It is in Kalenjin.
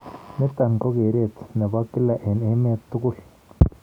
Niton kogereet nebo kila en emeet kotug.